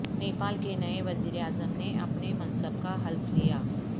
نیپال کے نئے وزیراعظم نے اپنے منصب کا حلف لیا